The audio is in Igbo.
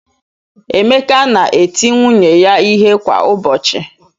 Emeka na-eti nwunye ya ihe kwa ụbọchị.